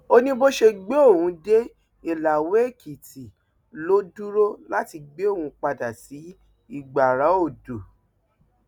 ó ní bó ṣe gbé òun dé ìlàwéèkìtì ló dúró láti gbé òun padà sí ìgbáraodò